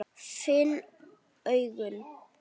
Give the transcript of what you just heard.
Finn augun.